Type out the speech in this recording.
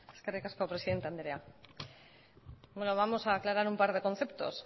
eskerrik asko presidente andrea vamos a aclarar un par de conceptos